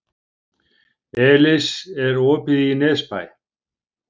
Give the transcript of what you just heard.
Elis, er opið í Nesbæ?